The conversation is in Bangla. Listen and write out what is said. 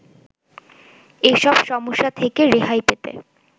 এসব সমস্যা থেকে রেহাই পেতে